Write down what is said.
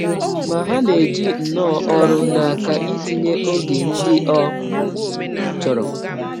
Ma, ha na - eji nnọọ ọrụ n’aka ịtịnye ọge ndị ọ chọrọ.